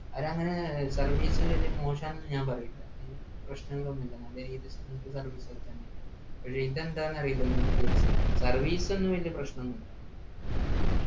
അവരങ്ങനെ service വല്യ മോശാന്നു ഞാൻ പറയില്ല ഏർ പ്രശ്നങ്ങളൊന്നുഇല്ല നല്ല രീതിയില് service ഒക്കെത്തന്നെ പക്ഷെ ഇതെന്താ അറീല്ല ഇങ്ങത്തെ case service ഒന്നും വെള്ള പ്രശ്നഒന്നും ഇല്ല